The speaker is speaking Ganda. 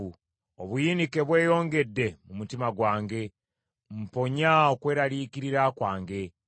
Obuyinike bweyongedde mu mutima gwange; mponya okweraliikirira kwange.